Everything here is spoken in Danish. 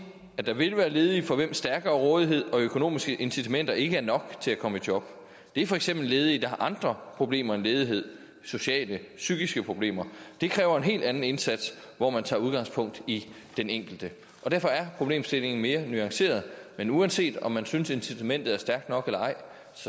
at der vil være ledige for hvem stærkere rådighed og økonomiske incitamenter ikke er nok til at komme i job det er for eksempel ledige der har andre problemer end ledighed sociale og psykiske problemer det kræver en helt anden indsats hvor man tager udgangspunkt i den enkelte derfor er problemstillingen mere nuanceret men uanset om man synes at incitamentet er stærkt nok eller ej